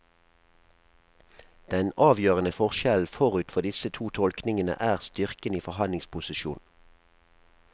Den avgjørende forskjellen forut for disse to tolkningene er styrken i forhandlingsposisjon.